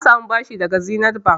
Na sami bashi daga Zenith Bank.